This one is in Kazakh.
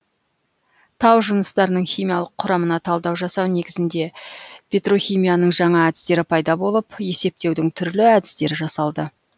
тау жыныстарының химиялық құрамына талдау жасау негізінде петрохимияның жаңа әдістері пайда болып есептеудің түрлі әдістері жасалды